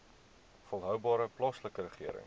volhoubare plaaslike regering